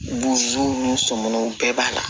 ni sɔmɔnɔw bɛɛ b'a la